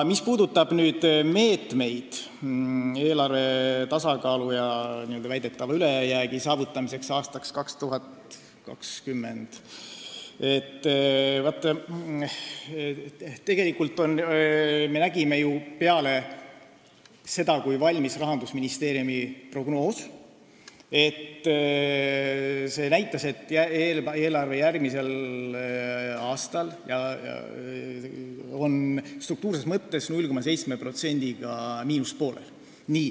Mis puudutab meetmeid eelarve tasakaalu ja väidetava ülejäägi saavutamiseks aastaks 2022, siis tegelikult me nägime ju peale seda, kui valmis Rahandusministeeriumi prognoos, et eelarve on järgmisel aastal struktuurses mõttes 0,7%-ga miinuspoolel.